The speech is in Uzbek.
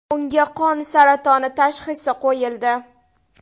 Unga qon saratoni tashxisi qo‘yildi.